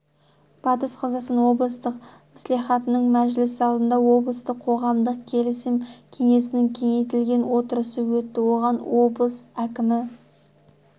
батыс қазақстан облыстық мслихатының мәжіліс залында облыстық қоғамдық келісім кеңесінің кеңейтілген отырысы өтті оған облыс әкімі